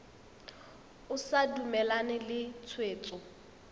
o sa dumalane le tshwetso